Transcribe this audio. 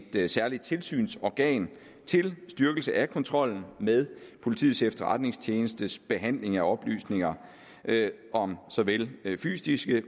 et særligt tilsynsorgan til styrkelse af kontrollen med politiets efterretningstjenestes behandling af oplysninger om såvel fysiske